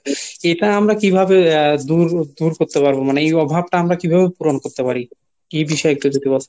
এটা আমরা কিভাবে আহ দূর করতে পারবো মানে এই অভাবটা আমরা কীভাবে পূরণ করতে পারি এ বিষয়ে যদি একটু বলতেন?